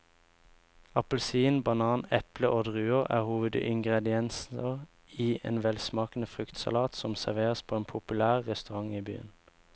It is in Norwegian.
Appelsin, banan, eple og druer er hovedingredienser i en velsmakende fruktsalat som serveres på en populær restaurant i byen.